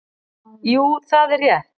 Jú það er rétt.